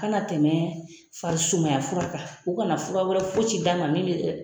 Kana tɛmɛ farisumaya fura kan u kana fura wɛrɛ fosi d'a ma min